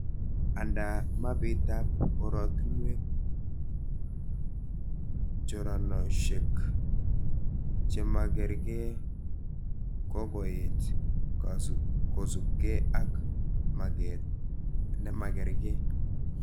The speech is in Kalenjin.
Andaa mapitab oratunwek ,choranoshek chemakarke kokokoet kosubke ak maget nemakarke